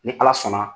Ni ala sɔnna